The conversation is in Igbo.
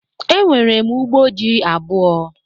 Enwere m ugbo ji abụọ